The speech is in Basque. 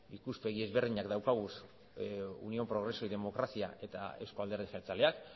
ikuspegi ezberdinak dauzkagu unión progreso y democracia eta euzko alderdi jeltzaleak